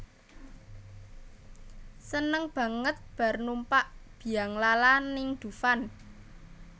Seneng banget bar numpak bianglala ning Dufan